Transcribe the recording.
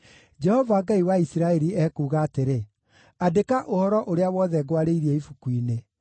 “Jehova, Ngai wa Isiraeli, ekuuga atĩrĩ: ‘Andĩka ũhoro ũrĩa wothe ngwarĩirie ibuku-inĩ.’